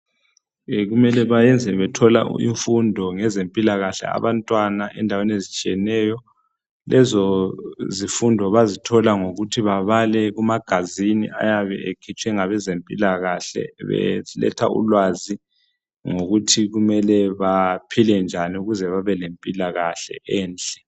Kumele bayenze bethole imfundo ngezempilakahle abantwana endaweni ezitsheyeneyo lezo zifundo bazitholangokuthi babale ngama magazine ayabe ekhitshwe ngabezempilakahle beletha ulwazi ngokuthi mele baphile njani ukuze babe lempilakahle enhle.